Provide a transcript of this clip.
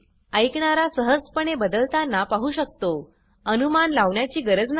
ऐकणारा सहजपणे बदलतांना पाहु शकतो अनुमान लावण्याची गरज नाही